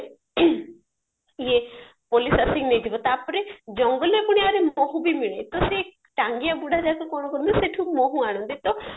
police ଆସିକି ନେଇଯିବ ତାପରେ ଜଙ୍ଗଲରେ ପୁଣି ଆଉଋ ମହୁ ବି ମିଳେ ତ ସେ ଟାଙ୍ଗିଆ ବୁଢା ଯାକ କଣ କରନ୍ତି ନା ସେତୁ ମହୁ ଆଣନ୍ତି ତ